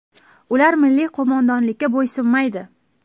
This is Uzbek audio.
Ular milliy qo‘mondonlikka bo‘ysunmaydi.